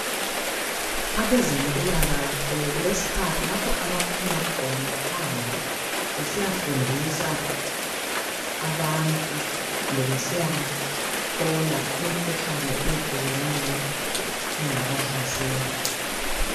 Abezempilakahle balezikhathi lapha abaphuma khona phandle. Besiyafundisa abantu, kumbe besiyabahlola, imikhuhlane eyehlukeneyo, engabahlasela.